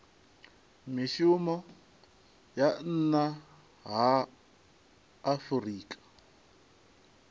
mivhuso ya nna ha afurika